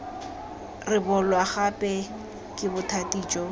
rebolwa gape ke bothati jo